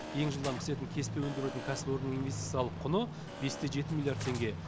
ең жылдам пісетін кеспе өндіретін кәсіпорынның инвестициялық құны бес те жеті миллиард теңге